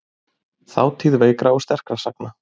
Þátíð veikra og sterkra sagna.